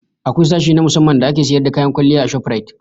Akwai sashe na musamman da ake sayar da kayan kwalliya a shoprite